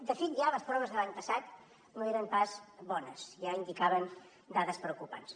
de fet ja les proves de l’any passat no eren pas bones ja indicaven dades preocupants